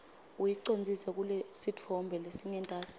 uyicondzise kulesitfombe lesingentasi